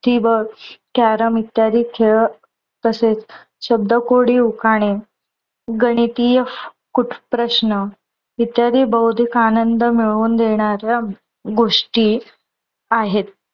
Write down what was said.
Carrom इत्यादी खेळ तसेच शब्दकोडी उखाणे, गणितीय कूट प्रश्न इत्यादी बौद्धिक आनंद मिळवून देणाऱ्या गोष्टी आहेत.